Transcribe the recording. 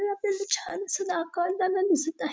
पण आपल्याला ते छान असं दिसत आहे.